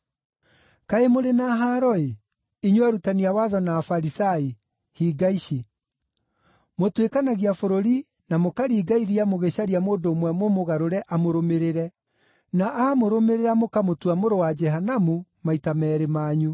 “Kaĩ mũrĩ na haaro-ĩ, inyuĩ arutani a watho na Afarisai hinga ici! Mũtuĩkanagia bũrũri na mũkaringa iria mũgĩcaria mũndũ ũmwe mũmũgarũre amũrũmĩrĩre, na aamũrũmĩrĩra mũkamũtua mũrũ wa Jehanamu maita meerĩ manyu.